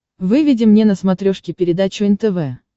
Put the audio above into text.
выведи мне на смотрешке передачу нтв